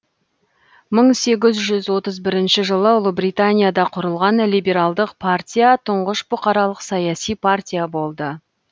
мың сегіз жүз отыз бірінші жылы ұлыбританияда құрылған либералдық партия тұңғыш бұқаралық саяси партия болды